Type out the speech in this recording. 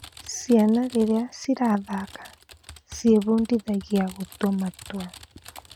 Ciana rĩrĩa cirathaka, ciebundithagia gũtua matua.